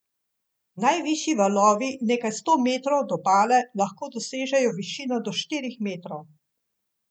Najvišji valovi nekaj sto metrov od obale lahko dosežejo višino do štirih metrov.